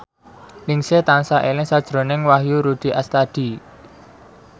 Ningsih tansah eling sakjroning Wahyu Rudi Astadi